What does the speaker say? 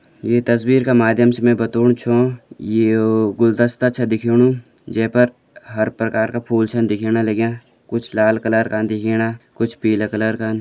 ये तस्वीर का माध्यम से मैं बतौण छ येओ गुलदस्ता छ दिखेणु जै पर हर प्रकार का फूल छन दिखेण लग्यां कुछ लाल कलर का दिखेणा कुछ पीला कलर कन।